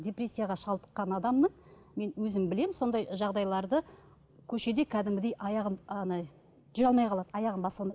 депрессияға шалдыққан адамның мен өзім білемін сондай жағдайларды көшеде кәдімгідей аяғын ана жүре алмай қалады аяғын баса алмайды